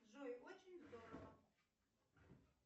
джой очень здорово